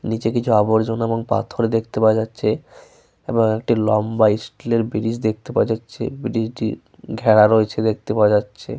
নিচে কিছু আবর্জনা এবং পাথর দেখতে পাওয়া যাচ্ছে এবং একটি লম্বা স্টিলের ব্রীজ দেখতে পাওয়া যাচ্ছে। ব্রীজ টি ঘেরা রয়েছে দেখতে পাওয়া যাচ্ছে।